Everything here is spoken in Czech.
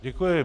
Děkuji.